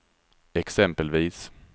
exempelvis